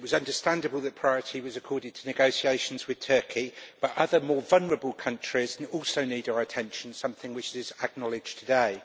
It was understandable that priority was accorded to negotiations with Turkey, but other more vulnerable countries also need our attention, something which was acknowledged today.